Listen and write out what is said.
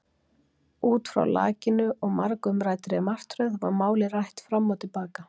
Út frá lakinu og margumræddri martröð var málið rætt fram og til baka.